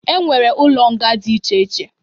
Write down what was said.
E nwere ụlọ nga dị iche iche.